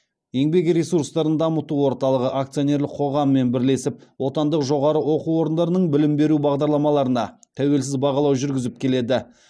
еңбек ресурстарын дамыту орталығы акционерлік қоғамымен бірлесеп отандық жоғары оқу орындарының білім беру бағдарламаларына тәуелсіз бағалау жүргізіп келеді